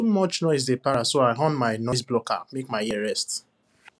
too much noise dey para so i on my noiseblocker make my ear rest